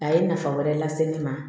A ye nafa wɛrɛ lase ne ma